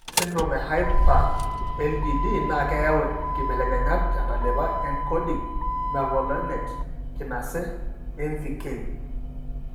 Ore esindirom e Hyper IgD naa keyau inkibelekenyat tentalipa eencoding mevalonate kinase (MVK).